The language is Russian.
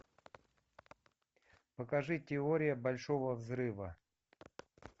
покажи теория большого взрыва